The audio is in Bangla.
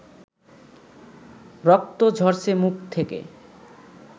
রক্ত ঝরছে মুখ থেকে